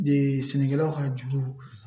De sɛnɛkɛlaw ka juru